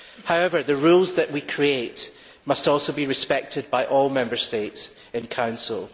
However, the rules that we create must also be respected by all Member States in Council.